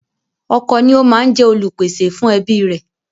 Ọkọ ni ó máa ń jẹ Olùpèsè fún ẹbí rẹ̀